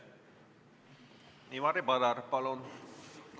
Ivari Padar, palun!